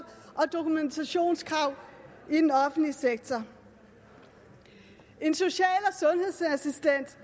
og dokumentationskrav i den offentlige sektor en social